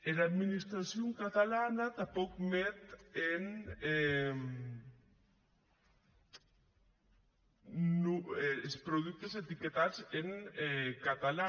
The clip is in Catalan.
era administracion catalana tanpòc met es productes etiquetadi en catalan